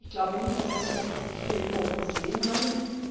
Ich glaube nicht, dass es sich hier immer um Versehen handelt.